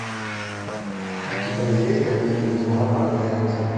у тебя есть обитель зла проклятие